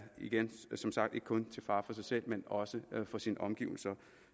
igen som sagt ikke kun til fare for sig selv men også for sine omgivelser